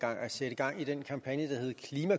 sætte